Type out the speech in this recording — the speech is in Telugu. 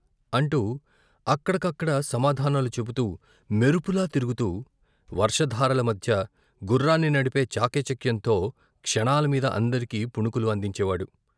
అంటూ అక్కడకక్కడ సమాధానాలు చెపుతూ, మెరుపులా తిరుగుతూ, వర్షధారల మధ్య గుర్రాన్ని నడిపే చాకచక్యంతో క్షణాల మీద అందరికీ పుణుకులు అందించే వాడు.